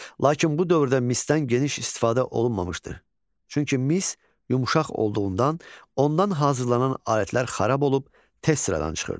Lakin bu dövrdə misdən geniş istifadə olunmamışdır, çünki mis yumuşaq olduğundan ondan hazırlanan alətlər xarab olub tez sıradan çıxırdı.